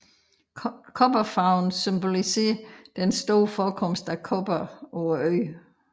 Kobberfarven symboliserer den store forekomst af kobber på øen